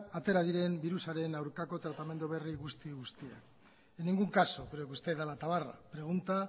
atera diren diru sareen aurkako tratamendu berri guzti guztiak en ningún caso creo que usted da la tabarra pregunta